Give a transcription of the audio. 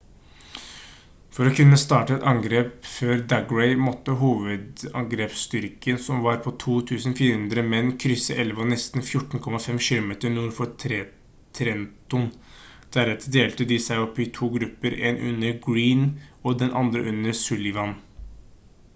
for å kunne starte et angrep før daggry måtte hovedangrepsstyrken som var på 2400 menn krysse elva nesten 14,5 km nord for trenton deretter delte de seg opp i to grupper én under greene og den andre under sullivan